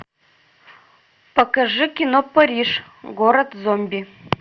покажи кино париж город зомби